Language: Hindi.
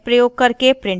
sed प्रयोग करके प्रिंट करना